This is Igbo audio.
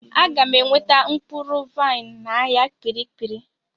Aga m enweta mkpụrụ vaịn n'ahịa kpirikpiri.